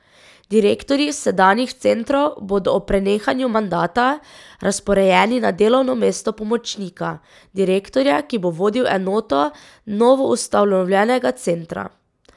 Direktorji sedanjih centrov bodo ob prenehanju mandata razporejeni na delovno mesto pomočnika direktorja, ki bo vodil enoto novoustanovljenega centra.